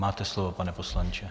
Máte slovo, pane poslanče.